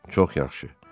Çox yaxşı.